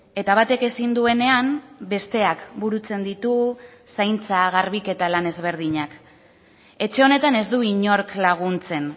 eta batek ezin duenean besteak burutzen ditu zaintza garbiketa lan ezberdinak etxe honetan ez du inork laguntzen